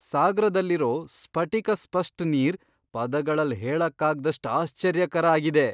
ಸಾಗ್ರದಲ್ಲಿರೋ ಸ್ಫಟಿಕ ಸ್ಪಷ್ಟ್ ನೀರ್ ಪದಗಳಲ್ ಹೇಳಕಾಗ್ದಾಸ್ಟ್ ಆಶ್ಚರ್ಯಕರ ಆಗಿದೆ.!